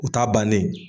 U ta bannen ye